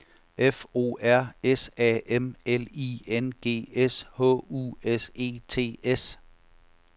F O R S A M L I N G S H U S E T S